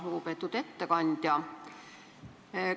Lugupeetud ettekandja!